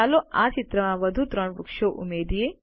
ચાલો આ ચિત્રમાં વધુ ત્રણ વૃક્ષો ઉમેરીએ